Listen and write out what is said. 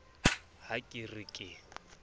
na ha ke re ke